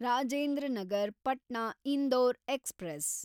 Rajendra Nagar Patna Indore express